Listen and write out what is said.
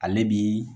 Ale bi